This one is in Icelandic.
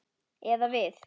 Eða við.